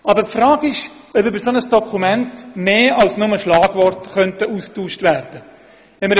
Aber die Frage ist, ob über ein solches Dokument mehr als nur Schlagworte ausgetauscht werden könnten.